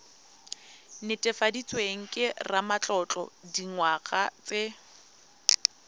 netefaditsweng ke ramatlotlo dingwaga tse